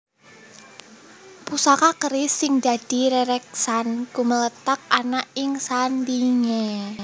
Pusaka keris sing dadi rereksan gumléthak ana ing sandhingé